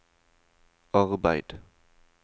arbeid